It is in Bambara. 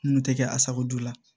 N kun tɛ kɛ asako joona